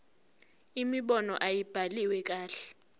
imibono ayibhaliwe kahle